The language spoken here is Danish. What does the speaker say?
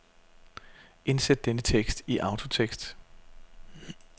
Indsæt denne tekst i autotekst.